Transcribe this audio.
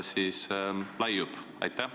... praegu ilutseb!